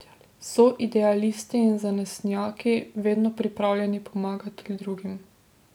So idealisti in zanesenjaki, vedno pripravljeni pomagati drugim.